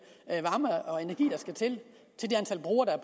varme og energi der skal til